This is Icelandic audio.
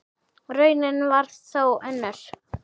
Raunin varð þó önnur.